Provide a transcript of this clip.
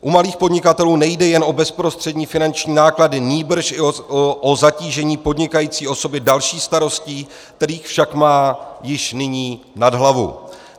U malých podnikatelů nejde jen o bezprostřední finanční náklady, nýbrž i o zatížení podnikající osoby další starostí, kterých však má již nyní nad hlavu.